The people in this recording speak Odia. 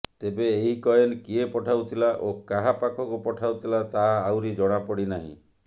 ତେବେ ଏହି କଏନ୍ କିଏ ପଠାଉଥିଲା ଓ କାହା ପାଖକୁ ପଠାଉଥିଲା ତାହା ଆହୁରି ଜଣାପଡି ନାହିଁ